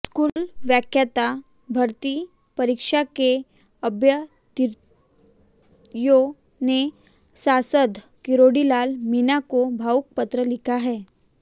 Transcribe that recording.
school व्याख्याता भर्ती परीक्षा के अभ्यर्थियों ने सांसद किरोड़ीलाल मीणा को भावुक पत्र लिखा है